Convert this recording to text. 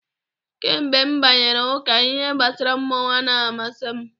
Kamgbe m banyere ụka, ihe gbasara mmọnwụ amaghị amasị m.